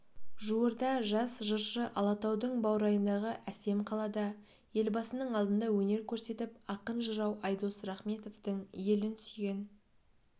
жуырда жас жыршы алатаудың баурайындағы әсем қалада елбасының алдында өнер көрсетіп ақын-жырау айдос рахметовтың елін сүйген